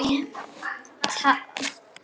Tár í augum hennar.